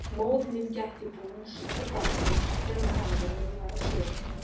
Móðir mín gætti bús og barna þegar faðir minn var á sjó.